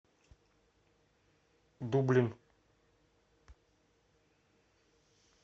дублин